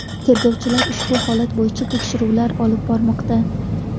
Tergovchilar ushbu holat bo‘yicha tekshiruv olib bormoqda.